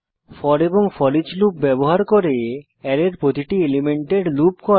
four এবং foreach loop ব্যবহার করে অ্যারের প্রতিটি এলিমেন্টের লুপ করা